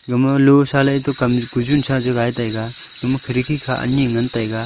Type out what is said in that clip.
gama losa ley eto kam kujun sagai taiga ema kharki kha ani ngan taga.